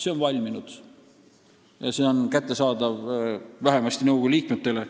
See on valminud ja see on kättesaadav vähemasti nõukogu liikmetele.